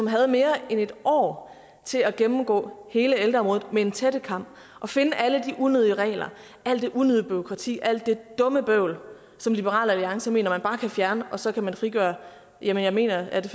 havde mere end et år til at gennemgå hele ældreområdet med en tættekam og finde alle de unødige regler alt det unødige bureaukrati alt det dumme bøvl som liberal alliance mener man bare kan fjerne og så frigøre jeg mener at det